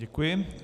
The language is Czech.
Děkuji.